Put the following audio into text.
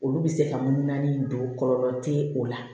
Olu bɛ se ka mun naani don kɔlɔlɔ tɛ o la